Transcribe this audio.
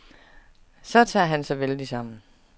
Så tager han sig vældigt sammen.